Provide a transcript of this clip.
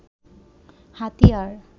হাতিয়ার